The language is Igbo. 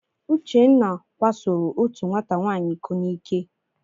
Uchenna kwasoro otu nwata nwaanyị iko n'ike.